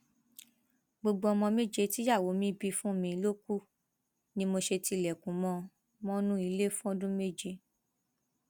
gbogbo ọmọ méje tíyàwó mi bí fún mi ló kù ni mo ṣe tilẹkùn mọ ọn mọnú ilé fọdún méjì